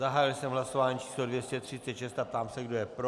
Zahájil jsem hlasování číslo 236 a ptám se, kdo je pro.